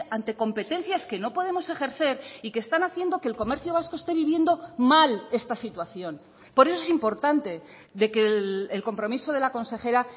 ante competencias que no podemos ejercer y que están haciendo que el comercio vasco este viviendo mal esta situación por eso es importante de que el compromiso de la consejera